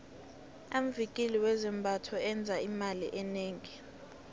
amvikili wezambatho enza imali enengi